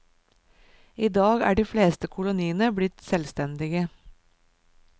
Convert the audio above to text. I dag er de fleste koloniene blitt selvstendige.